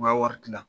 U ka wari tila